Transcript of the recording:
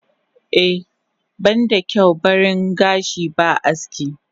Eh banda kyau baring gashi ba aski.